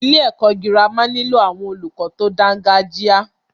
Ilé ẹ̀kọ́ gírámà nílò àwọn olùkọ tí o dáńgájia.